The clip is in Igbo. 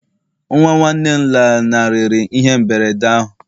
nwa nwanne m lanarịrị ihe mberede ahụ